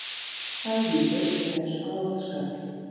Þæfingur er á Oddsskarði